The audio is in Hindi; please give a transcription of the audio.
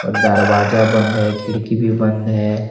दरवाजा बंद है खिड़की भी बंद है।